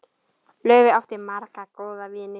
Laufey átti marga góða vini.